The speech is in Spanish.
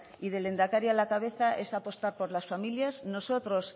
y del lehendakari a la cabeza es apostar por las familias nosotros